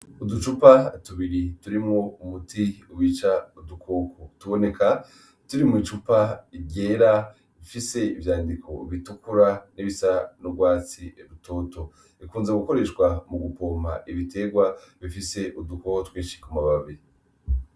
Uducupa tubiri turimwo umuti wica udukoko, tuboneka turi mw'icupa ryera ifise ivyandiko bitukura n'ibisa n'urwatsi rutoto, bikunze gukoreshwa mugupompa ibiterwa bifise udukoko twinshi ku mababi.